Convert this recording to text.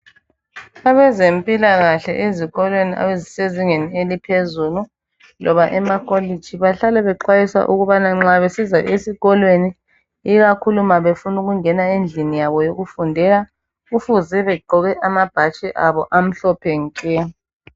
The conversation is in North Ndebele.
Abezempilakahle ezikolweni ezisezingeni eliphezulu loba emakolitshi bahlala bexwayisa ukubana nxa besiza esikolweni ikakhulu ma befuna ukungena endlini yabo yokufundela kufuze begqoke amabhatshi abo amhlophe nke.